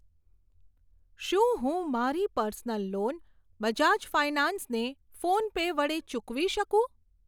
શું હું મારી પર્સનલ લોન બજાજ ફાયનાન્સ ને ફોનપે વડે ચૂકવી શકું?